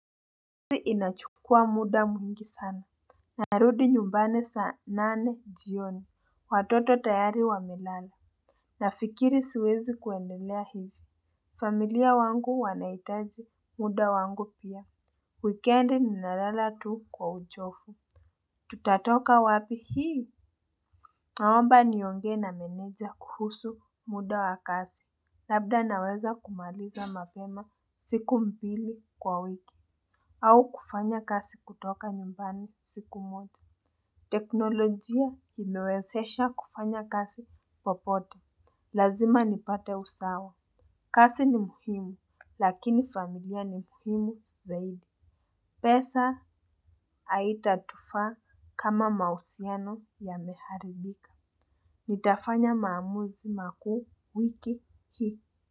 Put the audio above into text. Uzi inachukua muda mwingi sana. Narudi nyumbani saa nane jioni. Watoto tayari wamelala na fikiri siwezi kuendelea hivi. Familia wangu wanahitaji muda wangu pia. Weekendi ninalala tu kwa uchofu. Tutatoka wapi hii? Naomba niongee na meneja kuhusu muda wa kasi. Labda naweza kumaliza mapema siku mbili kwa wiki. Au kufanya kasi kutoka nyumbani siku moja. Teknolojia imewesesha kufanya kasi popote. Lazima nipate usawa. Kasi ni muhimu lakini familia ni muhimu zaidi. Pesa aitatufaa kama mahusiano ya meharibika. Nitafanya maamuzi makuu wiki hii.